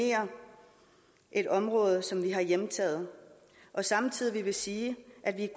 et område som vi har hjemtaget samtidig vil vi sige at vi